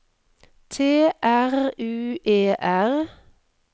T R U E R